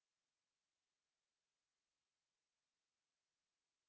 to